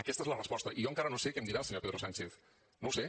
aquesta és la resposta i jo encara no sé què em dirà el senyor pedro sánchez no ho sé